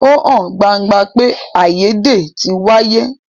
Ó hàn gbangba pé àìyédè tí wáyé.